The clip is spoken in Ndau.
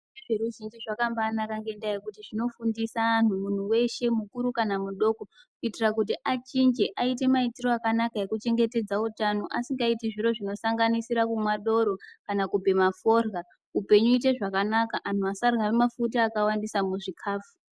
Zveruzhinji zvakambanaka ngendaa yekuti zvinofundisa anhu muntu weshe mukuru kana mudoko kuitira kuti achinje aite maitirwo akanaka ekuchengetedza utano asingaiti zviro zvinosanganisira kumwa doro kana kubhema forya upenyu uite zvakanaka anhu asarya mafuta akawandisa muzvikafu.